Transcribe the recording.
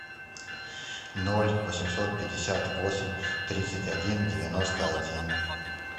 ноль восемьсот пятьдесят восемь тридцать один девяносто один